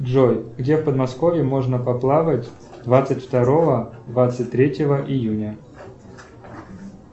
джой где в подмосковье можно поплавать двадцать второго двадцать третьего июня